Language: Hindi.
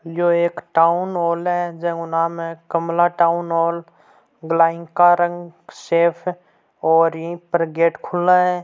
यो एक टाउन हॉल है जका को जका को नाम है कमला टाउन हॉल ब्लाइंग का रंग सेफ और ई पर गेट खुला है।